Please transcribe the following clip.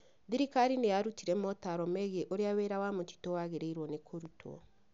Thirikari nĩ yarutire motaaro megiĩ ũrĩa wĩra wa mĩtitũ wagĩrĩirũo nĩ kũrutwo.